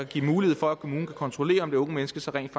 give mulighed for at kommunen kan kontrollere om det unge menneske så rent